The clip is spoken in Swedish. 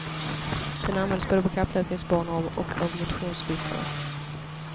Den används både på kapplöpningsbanor och av motionsryttare.